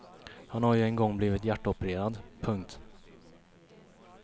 Han har ju en gång blivit hjärtopererad. punkt